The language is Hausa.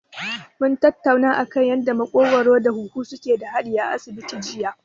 Mun tattauna kan yanda maƙogwaro da huhu suke da haɗi a asibiti jiya.